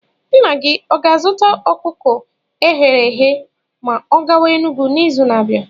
Nna gị ọ ga-azụta ọkụkọ eghere eghe ma ọ gawa Enugwu n'izu na-abịa?